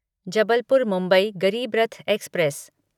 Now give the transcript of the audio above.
Jabalpur Mumbai Garib Rath express